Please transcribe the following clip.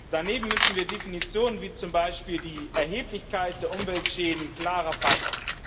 Daneben müssen wir Definitionen, wie zum Beispiel die Erheblichkeit der Umweltschäden, klarer fassen.